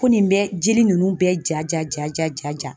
Ko nin bɛ jeli nunnu bɛɛ ja ja ja ja .